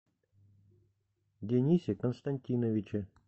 денисе константиновиче